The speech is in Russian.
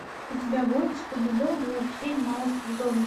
у тебя будет скуби ду возвращение на остров зомби